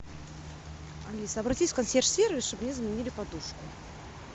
алиса обратись в консьерж сервис чтобы мне заменили подушку